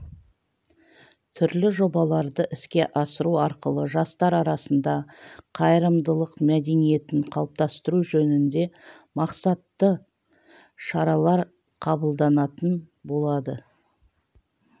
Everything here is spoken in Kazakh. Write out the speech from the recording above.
түрлі жобаларды іске асыру арқылы жастар арасында қайырымдылық мәдениетін қалыптастыру жөнінде мақсатты шаралар қабылданатын болады